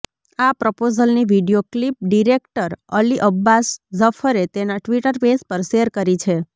આ પ્રપોઝલની video clip director Ali Abbas ઝફરે તેનાં ટ્વિટર પેજ પર શેર કરી છે